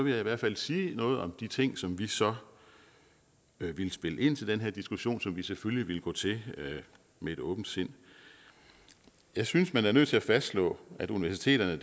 jeg i hvert fald sige noget om de ting som vi så ville spille ind til den her diskussion som vi selvfølgelig ville gå til med åbent sind jeg synes man er nødt til at fastslå at universiteterne